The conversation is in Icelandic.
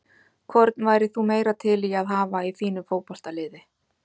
Hvorn værir þú meira til í að hafa í þínu fótboltaliði?